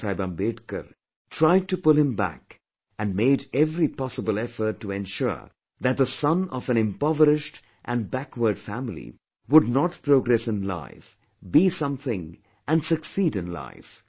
Baba Saheb Ambedkar, tried to pull him back and made every possible effort to ensure that the son of an impoverished and backward family would not progress in life, be something and succeed in life